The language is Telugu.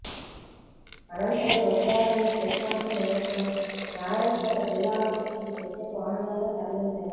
అనంతరం మృతదేహాలను పోస్టుమార్టం నిమిత్తం నారాయణపేట జిల్లా ఆస్పత్రికి ప్రత్యేక వాహనాల్లో తరలించారు